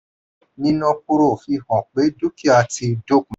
níná kúrò fi hàn pé dúkìá ti dópin.